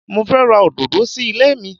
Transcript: Mo fẹ́ ra òdòdó sí ilé mi.